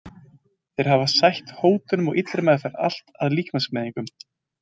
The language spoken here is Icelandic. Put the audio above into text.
Þeir hafi sætt hótunum og illri meðferð, allt að líkamsmeiðingum.